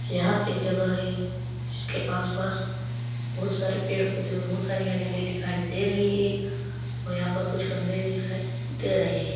यहाँ पे जगह है जिसके आस पास बहुत सारे पेड़ पेढ पौधे और बहुत सारी हरियाली दिखाई दे रही है यहाँ पर कुछ खंबे दिखाई दे रहे है।